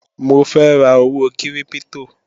Mo fẹ́ ra owó kírípítò